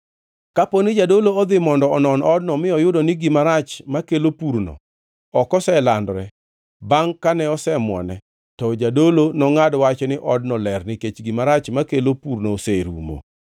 “Kapo ni jadolo odhi mondo onon odno mi oyudo ni gima rach makelo purno ok oselandore bangʼ kane osemwone, to jadolo nongʼad wach ni odno ler nikech gima rach makelo purno oserumo.